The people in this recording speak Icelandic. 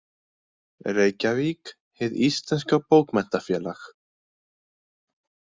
Reykjavík: Hið Íslenska Bókmenntafélag.